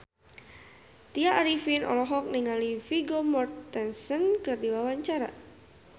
Tya Arifin olohok ningali Vigo Mortensen keur diwawancara